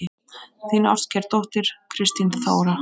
Þín ástkær dóttir, Kristín Þóra.